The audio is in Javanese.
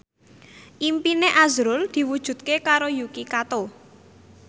impine azrul diwujudke karo Yuki Kato